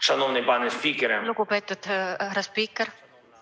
Lugupeetud härra spiiker!